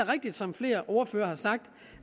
rigtigt som flere ordførere har sagt